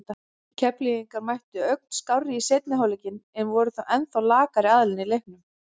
Keflvíkingar mættu ögn skárri í seinni hálfleikinn en voru þó ennþá lakari aðilinn í leiknum.